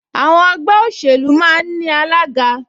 Àwọn ẹgbẹ́ òṣèlú máa ń ní alága